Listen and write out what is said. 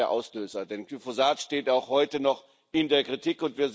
Das war ja der Auslöser, denn Glyphosat steht auch heute noch in der Kritik.